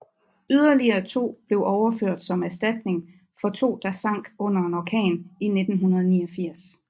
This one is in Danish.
Yderligere to blev overført som erstatning for to der sank under en orkan i 1989